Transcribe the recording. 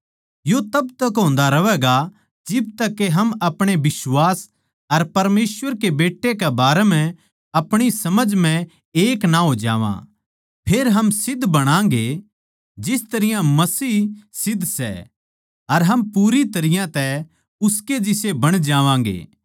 यो तब तक होन्दा रहवैगा जिब तक के हम अपणे बिश्वास अर परमेसवर के बेट्टे कै बारें म्ह अपणी समझ म्ह एक ना हो जावां फेर हम सिध्द बणागे जिस तरियां मसीह सिध्द सै अर हम पूरी तरियां तै उसके जिसे बण जावांगे